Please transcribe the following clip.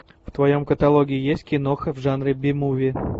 в твоем каталоге есть киноха в жанре би муви